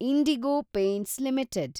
IndiGo Paints limited